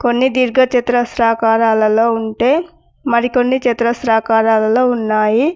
కొన్ని దీర్ఘ చతురస్రాకారాలలో ఉంటే మరికొన్ని చతురస్రాకారాలలో ఉన్నాయి.